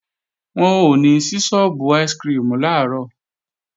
Wọn ò ní sí sọ́ọ́bù áìsikirimù làárọ̀